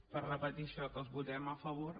per repetir això que els votem a favor